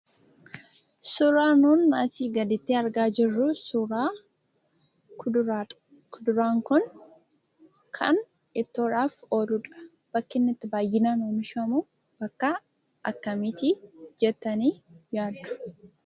Suuraan nuun asii gadiitti argaa jirru kun suuraa kuduraadha. Kuduraan kun kan ittoodhaaf ooludha. Bakki inni baayyinaan itti oomishamu bakka akkamiitii jettanii yaaddu?